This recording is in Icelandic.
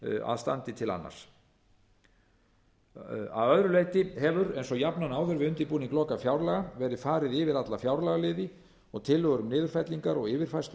að standi til annars að öðru leyti hefur eins og jafnan áður við undirbúning lokafjárlaga verið farið yfir alla fjárlagaliði og tillögur um niðurfellingar og yfirfærslur